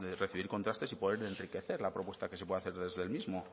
recibir contrastes y poder enriquecer la propuesta que se puede hacer desde el mismo